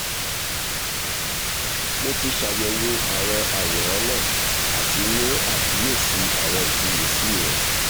mo ti ṣàyẹ̀wò àwọn àwòrán náà àti mú àkíyèsí àwọn ìfiyèsí rẹ